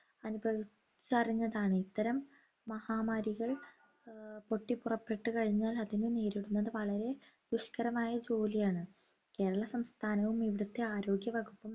അനുഭവിച്ചറിഞ്ഞതാണ് ഇത്തരം മഹാമാരികൾ ഏർ പൊട്ടിപ്പൊറപ്പെട്ടുകഴിഞ്ഞാൽ അതിനെ നേരിടുന്നത് വളരെ ദുഷ്‌കരമായ ജോലിയാണ് കേരള സംസ്ഥാനവും ഇവിടത്തെ ആരോഗ്യവകുപ്പും